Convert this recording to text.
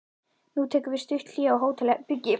Nú tekur við stutt hlé á hótelherbergi.